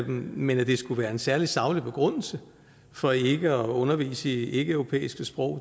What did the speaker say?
men at det skulle være en særlig saglig begrundelse for ikke at undervise i ikkeeuropæiske sprog